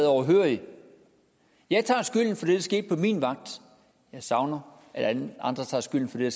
overhørig jeg tager skylden for det der skete på min vagt jeg savner at de andre tager skylden for det